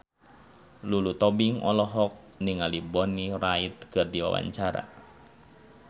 Lulu Tobing olohok ningali Bonnie Wright keur diwawancara